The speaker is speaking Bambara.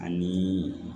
Ani